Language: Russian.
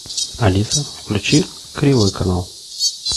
алиса включи кривой канал